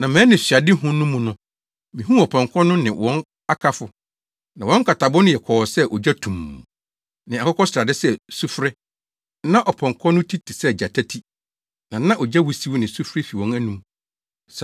Na mʼanisoadehu no mu no, mihuu apɔnkɔ no ne wɔn akafo. Na wɔn nkatabo no yɛ kɔɔ sɛ ogya, tumm, ne akokɔsrade sɛ sufre. Na ɔpɔnkɔ no ti te sɛ gyata ti na na ogya wusiw ne sufre fi wɔn anom.